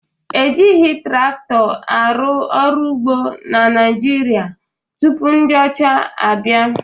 Ejighị traktọ arụ ọrụ ugbo na Naịjirịa tupu ndị ọcha abịa